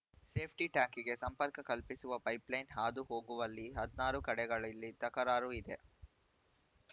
ಸೇಫ್ಟಿಟ್ಯಾಕಿಗೆ ಸಂಪರ್ಕ ಕಲ್ಪಿಸುವ ಪೈಪ್‌ಲೈನ್‌ ಹಾದು ಹೋಗುವಲ್ಲಿ ಹದಿನಾರು ಕಡೆಗಳಲ್ಲಿ ತಕರಾರು ಇದೆ